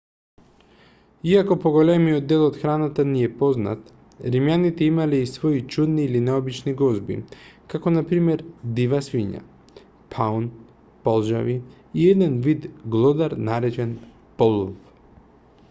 иако поголемиот дел од храната ни е познат римјаните имале и свои чудни или необични гозби како на пример дива свиња паун полжави и еден вид глодар наречен полв